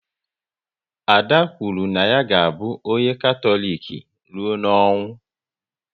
Ada kwuru na ya ga abụ onye Katọlik rụọ n'ọnwụ